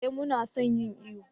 eh mu na son yin iyo